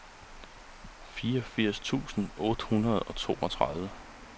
fireogfirs tusind otte hundrede og toogtredive